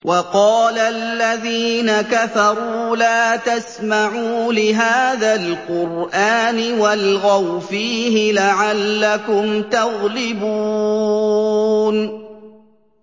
وَقَالَ الَّذِينَ كَفَرُوا لَا تَسْمَعُوا لِهَٰذَا الْقُرْآنِ وَالْغَوْا فِيهِ لَعَلَّكُمْ تَغْلِبُونَ